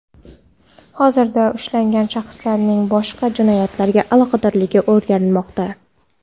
Hozirda ushlangan shaxslarning boshqa jinoyatlarga aloqadorligi o‘rganilmoqda.